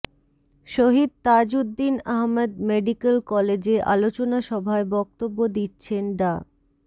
শহীদ Tajuddin Ahmad medical কলেজে আলোচনা সভায় বক্তব্য দিচ্ছেন ডা